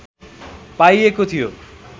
पाइएको थियो